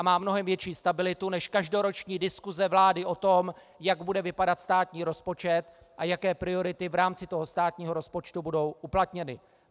A má mnohem větší stabilitu než každoroční diskuse vlády o tom, jak bude vypadat státní rozpočet a jaké priority v rámci toho státního rozpočtu budou uplatněny.